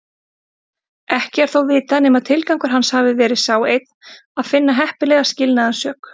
Ekki er þó vitað nema tilgangur hans hafi verið sá einn að finna heppilega skilnaðarsök.